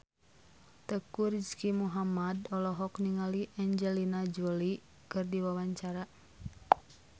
Teuku Rizky Muhammad olohok ningali Angelina Jolie keur diwawancara